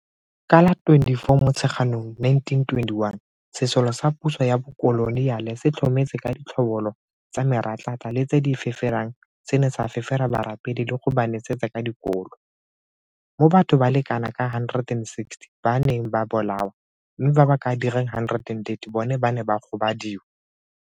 Ka la bo 24 Motsheganong 1921, sesole sa puso ya bokoloniale se tlhometse ka ditlhobolo tsa meratlatla le tse di feferang se ne sa fefera barapedi le go ba nesetsa ka dikolo, mo batho ba le kanaka 160 ba neng ba bolawa mme ba ba ka dirang 130 bona ba ne ba gobadiwa.